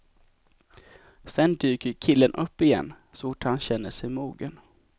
Sen dyker killen upp igen, så fort han känner sig mogen.